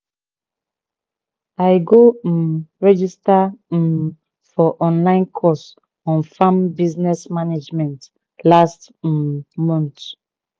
i go um register um for online course on farm business management last um month